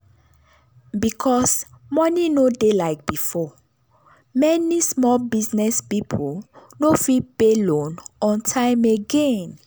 because money no dey like before many small business people no fit pay loan on time again.